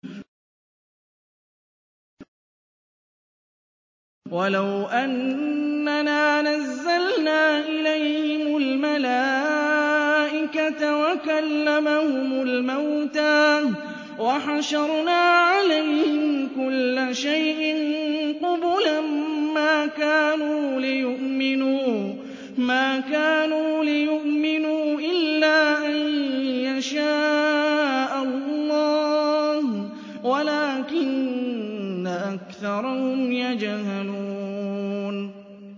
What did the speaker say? ۞ وَلَوْ أَنَّنَا نَزَّلْنَا إِلَيْهِمُ الْمَلَائِكَةَ وَكَلَّمَهُمُ الْمَوْتَىٰ وَحَشَرْنَا عَلَيْهِمْ كُلَّ شَيْءٍ قُبُلًا مَّا كَانُوا لِيُؤْمِنُوا إِلَّا أَن يَشَاءَ اللَّهُ وَلَٰكِنَّ أَكْثَرَهُمْ يَجْهَلُونَ